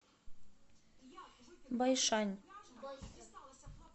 байшань